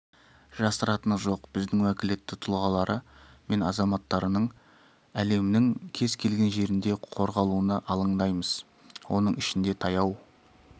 жасыратыны жоқ біз уәкілетті тұлғалары мен азаматтарының әлемнің кез келген жерінде қорғалуына алаңдаймыз оның ішінде таяу